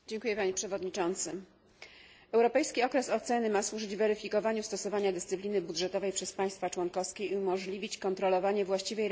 Europejski okres oceny ma służyć weryfikowaniu stosowania dyscypliny budżetowej przez państwa członkowskie i umożliwić kontrolowanie właściwej realizacji założeń strategii Europa